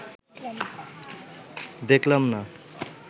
দেখিলাম না